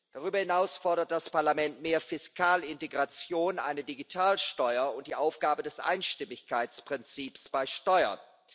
Darüber hinaus fordert das Parlament mehr Fiskalintegration, eine Digitalsteuer und die Aufgabe des Einstimmigkeitsprinzips bei Steuern.